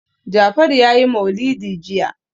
Jafaru ya yi maulidi jiya.